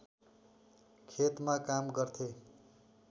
खेतमा काम गर्थे